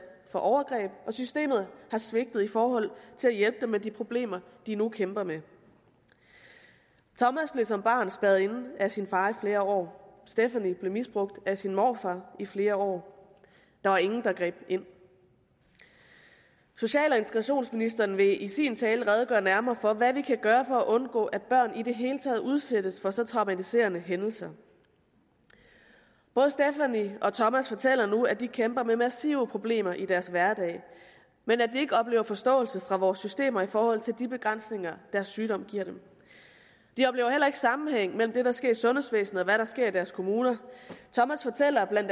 for overgreb og systemet har svigtet i forhold til at hjælpe dem med de problemer de nu kæmper med tommas blev som barn spærret inde af sin far i flere år stephanie blev misbrugt af sin morfar i flere år der var ingen der greb ind social og integrationsministeren vil i sin tale redegøre nærmere for hvad vi kan gøre for at undgå at børn i det hele taget udsættes for så traumatiserende hændelser både stephanie og tommas fortæller nu at de kæmper med massive problemer i deres hverdag men at de ikke oplever forståelse fra vores systemer i forhold til de begrænsninger deres sygdom giver dem de oplever heller ikke sammenhæng mellem hvad der sker i sundhedsvæsenet og hvad der sker i deres kommuner tommas fortæller bla